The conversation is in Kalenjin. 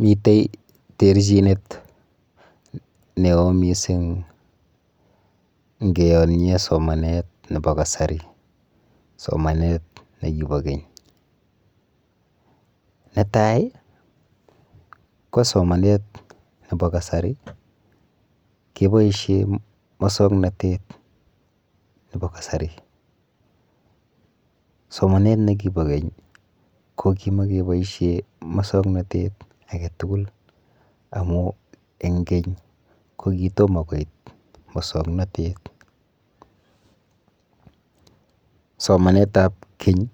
Mite terchinet neo mising ngeyonye somanet nepo kasari somanet nekipo keny. Netai, ko somanet nepo kasari keboishe musoknotet nepo kasari, somanet nekipo keny ko kimakeboishe musoknotet aketugul amu eng keny ko kitomo koit musoknotet. Somanetap keny